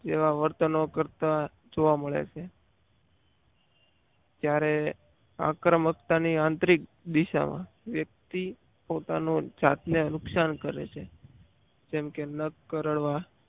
જેવા વર્તનો કરતા જોવા મળે છે ત્યારે આક્રમકતા ની આંતરિક દિશામાં વ્યક્તિ પોતાના જાતને નુકસાન કરે છે. જેમ કે નખ કરડવા